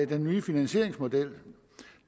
den nye finansieringsmodel